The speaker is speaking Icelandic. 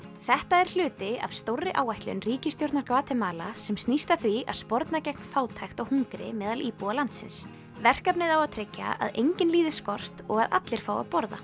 þetta er hluti af stórri áætlun ríkisstjórnar Gvatemala sem snýr að því að sporna gegn fátækt og hungri meðal íbúa landsins verkefnið á að tryggja að enginn líði skort og að allir fái að borða